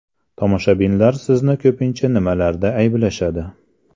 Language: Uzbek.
Tomoshabinlar sizni ko‘pincha nimalarda ayblashadi?